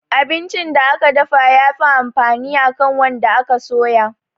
Abincin da aka dafa ya fi amfani akan wanda aka soya